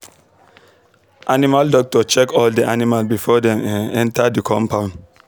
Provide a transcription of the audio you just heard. animal doctor check all the the animal before dem um enter the coumpound